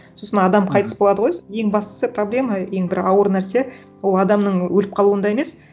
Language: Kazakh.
сосын адам қайтыс болады ғой ең бастысы проблема ең бір ауыр нәрсе ол адамның өліп қалуында емес